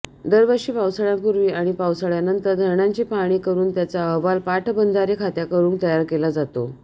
दरवर्षी पावसाळ्यापूर्वी आणि पावसाळ्यानंतर धरणांची पाहणी करून त्याचा अहवाल पाटबंधारे खात्याकरून तयार केला जातो